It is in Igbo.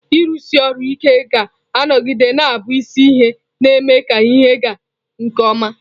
Ịrụsi ọrụ ike ga-anọgide na-abụ isi ihe na-eme ka ihe ịga nke ọma.